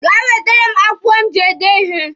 Gaa wetere m akwụkwọ m ji ede ihe!